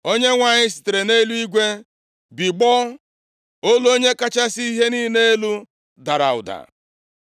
Onyenwe anyị sitere nʼeluigwe bigbọọ. Olu Onye kachasị ihe niile elu dara ụda.